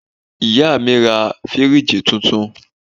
Ìyá mi ra fíríìjì tuntun